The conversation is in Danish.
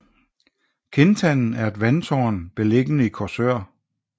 Kindtanden er et vandtårn beliggende i Korsør